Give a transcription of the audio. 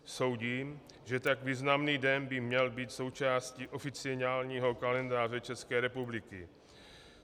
Soudím, že tak významný den by měl být součástí oficiálního kalendáře České republiky.